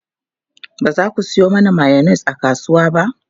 Ba za ku samo mayonnaise a kasuwa ba?